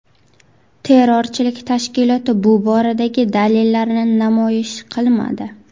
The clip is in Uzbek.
Terrorchilik tashkiloti bu boradagi dalillarini namoyish qilmadi.